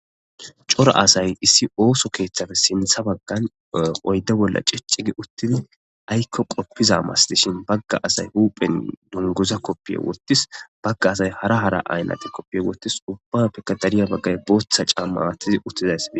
Cora asay issi ooso keeththafe sintha baggan oydde bolla ciccigi uttin aykko qoppiza mas dishin bagga asay huuphen dunguza koppiye wootis bagga asay hara hara aynate koppiye wootis ubba pekka dariya baggay booththa caamma atizi uttizaysi.